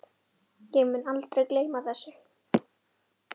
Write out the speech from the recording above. Ég mun aldrei gleyma þessu.